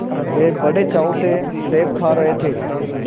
वे बड़े चाव से सेब खा रहे थे